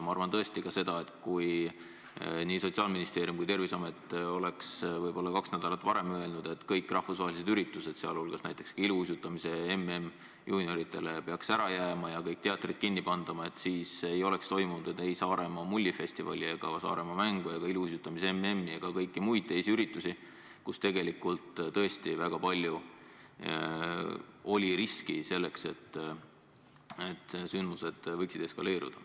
Ma arvan tõesti ka seda, et kui nii Sotsiaalministeerium kui ka Terviseamet oleks kaks nädalat varem öelnud, et kõik rahvusvahelised üritused, sh ka näiteks iluuisutamise MM juunioridele peaks ära jääma ja kõik teatrid kinni pandama, siis ei oleks toimunud ei Saaremaa Mullifestivali ega Saaremaa võistlust ega ka iluuisutamise MM-i ega kõiki muid üritusi, kus tegelikult oli tõesti suur risk, et sündmused võinuks eskaleeruda.